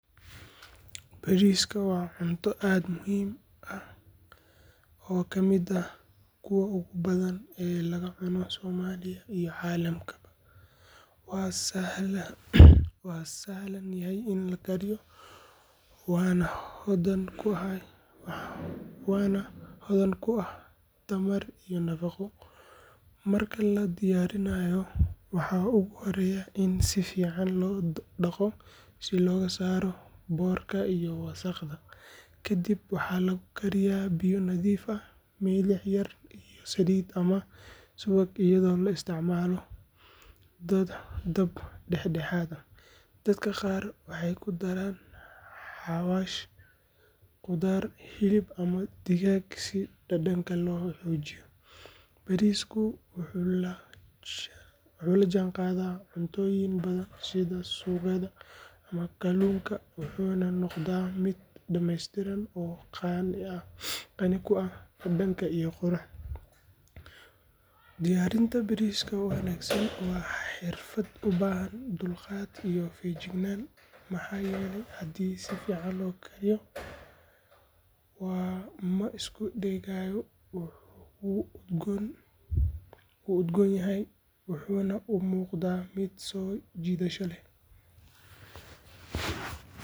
Bariiska waa cunto aad u muhiim ah oo ka mid ah kuwa ugu badan ee laga cuno Soomaaliya iyo caalamkaba. Waa sahlan yahay in la kariyo, waana hodan ku ah tamar iyo nafaqo. Marka la diyaarinayo, waxaa ugu horreeya in si fiican loo dhaqo si looga saaro boorka iyo wasakhda. Kadib waxaa lagu kariyaa biyo nadiif ah, milix yar iyo saliid ama subag, iyadoo la isticmaalo dab dhexdhexaad ah. Dadka qaar waxay ku daraan xawaash, khudaar, hilib ama digaag si dhadhanka loo xoojiyo. Bariisku wuxuu la jaanqaadaa cuntooyin badan sida suugada ama kalluunka, wuxuuna noqdaa mid dhammaystiran oo qani ku ah dhadhan iyo qurux. Diyaarinta bariiska wanaagsan waa xirfad u baahan dulqaad iyo feejignaan, maxaa yeelay haddii si fiican loo kariyo, ma isku dhegayo, wuu udgoon yahay, wuxuuna u muuqdaa mid soo jiidasho leh.